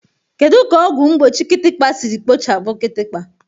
Kedu ka ọgwụ mgbochi kịtịkpa siri kpochapụ kịtịkpa?